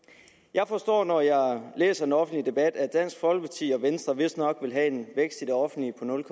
jeg forstår når jeg læser den offentlige debat at dansk folkeparti og venstre vistnok vil have en vækst i det offentlige på nul